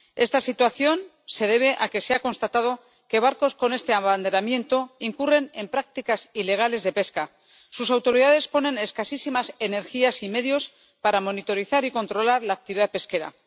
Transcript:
Esta situación se debe a que se ha constatado que barcos con este abanderamiento incurren en prácticas ilegales de pesca. Sus autoridades ponen escasísimas energías y medios para monitorizar y controlar la actividad pesquera